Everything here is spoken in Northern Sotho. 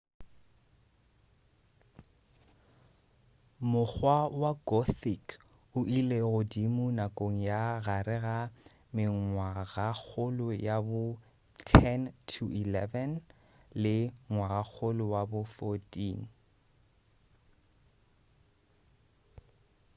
mokgwa wa gothic o ile godimo nakong ya gare ga mengwagakgolo ya bo 10 - 11 le ngwagakgolo wa bo 14